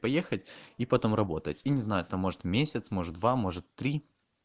поехать и потом работать и не знаю там может месяц может два может три